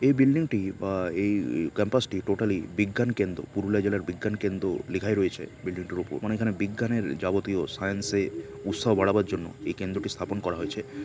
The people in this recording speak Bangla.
এই বিল্ডিং -টি বা এইই ক্যাম্পাস -টি টোটালি বিজ্ঞান কেন্দ্র পুরুলিয়া জেলার বিজ্ঞান কেন্দ্র লেখাই রয়েছে বিল্ডিং -টির ওপর। মানে এখানে বিজ্ঞানের যাবতীয় সাইন্স -এ উৎসাহ বাড়াবার জন্য এই কেন্দ্রকে স্থাপন করা হয়েছে-- ]